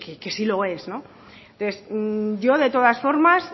que sí lo es yo de todas formas